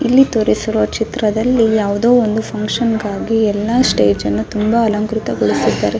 ಇಲ್ಲಿ ತೋರಿಸಿರುವ ಚಿತ್ರದಲ್ಲಿ ಯಾವುದೇ ಒಂದು ಫುನ್ಕ್ಷನ್ ಗಾಗಿ ಎಲ್ಲ ಸ್ಟೇಜ್ ಅನ್ನು ತುಂಬಾ ಅಲಂಕೃತ ಗೊಳಿಸಿದ್ದಾರೆ .